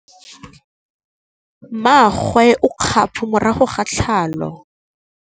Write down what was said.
Mmagwe o kgapô morago ga tlhalô.